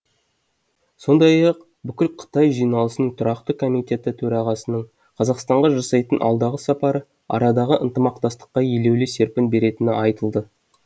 сондай ақ бүкілқытай жиналысының тұрақты комитеті төрағасының қазақстанға жасайтын алдағы сапары арадағы ынтымақтастыққа елеулі серпін беретіні айтылды